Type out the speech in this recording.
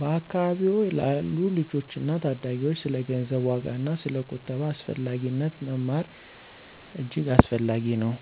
በአካባቢዎ ላሉ ልጆችና ታዳጊዎች ስለ ገንዘብ ዋጋና ስለ ቁጠባ አስፈላጊነት መማር እጅግ አስፈላጊ ነው።